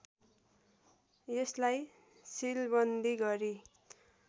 यसलाई सिलवन्दी गरी